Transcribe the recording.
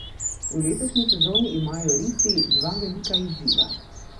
V letošnji sezoni imajo risi dva velika izziva.